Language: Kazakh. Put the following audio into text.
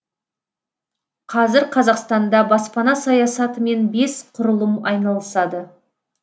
қазір қазақстанда баспана саясатымен бес құрылым айналысады